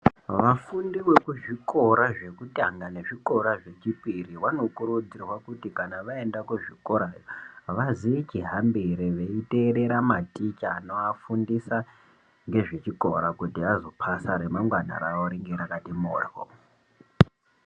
Vafundi vekuzvikora zvekutanga kana zvechipiri vanokurudzirwa kuti kana vaenda kuzvikora kuvafundisa ngezvechikora kuti remangwana ravo ringe rakti mhoryo.